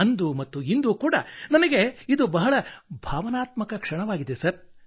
ಅಂದು ಮತ್ತು ಇಂದು ಕೂಡಾ ನನಗೆ ಇದು ಬಹಳ ಭಾವನಾತ್ಮಕ ಕ್ಷಣವಾಗಿದೆ ಸರ್